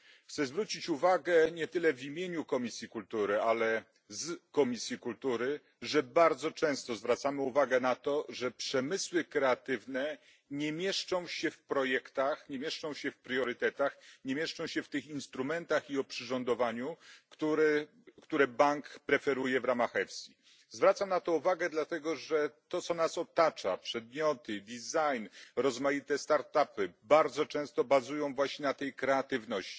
Chcę zwrócić uwagę nie tyle w imieniu Komisji Kultury, ale z Komisji Kultury, że bardzo często zwracamy uwagę na to, że przemysły kreatywne nie mieszczą się w projektach, nie mieszczą się w priorytetach, nie mieszczą się w tych instrumentach i oprzyrządowaniu, które bank preferuje w ramach EFSI. Zwracam na to uwagę dlatego, że to co nas otacza przedmioty design, rozmaite start upy bardzo często bazuje właśnie na tej kreatywności.